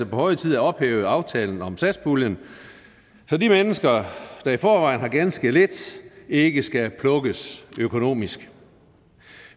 på høje tid at ophæve aftalen om satspuljen så de mennesker der i forvejen har ganske lidt ikke skal plukkes økonomisk